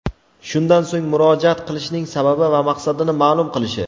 shundan so‘ng murojaat qilishining sababi va maqsadini maʼlum qilishi;.